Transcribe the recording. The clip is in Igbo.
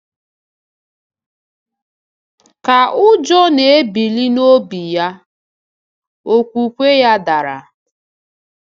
Ka ụjọ na-ebili n’obi-ya, okwukwe-ya dara.